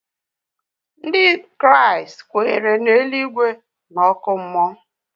Ndị Kraịst kweere na eluigwe na oku mmuo